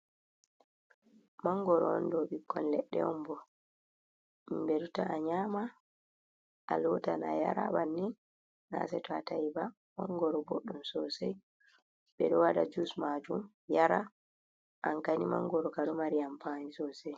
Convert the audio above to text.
Mangoro on ɗo bikkon ledde on bo himɓe ɗo ta'a nyama a lotan ayara bannin na seto ata'i ba mangoro boddum sosai ɓe ɗo wada jus majum yara an kani mangoro kam ɗo mari amfaani sosai.